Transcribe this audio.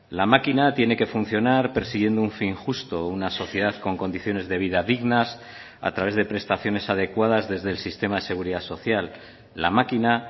la máquina tiene que funcionar persiguiendo un fin justo una sociedad con condiciones de vida dignas a través de prestaciones adecuadas desde el sistema de seguridad social la máquina